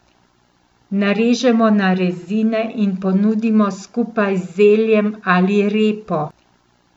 Narežemo na rezine in ponudimo skupaj z zeljem ali repo.